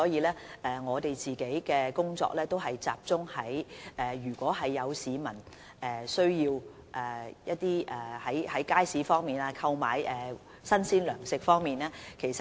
因此，我們的工作只能集中處理市民在街市購買新鮮糧食的需要。